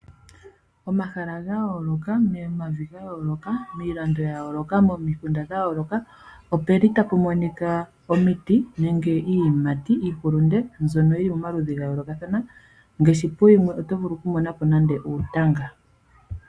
Omahala gayoolokathana, momavi gayooloka, miilando yayooloka, momikunda dhayooloka . Ohapu monika omiti nenge iiyimati , iihulunde, mbyono yili momaludhi gayoolokathana ngaashi oto vulu okumonapo uutanga.